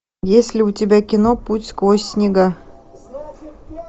есть ли у тебя кино путь сквозь снега